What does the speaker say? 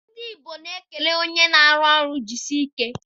Ndị Igbo na-ekele onye na-arụ ọrụ jisie ike